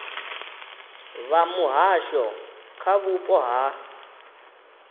vha muhasho kha vhupo ha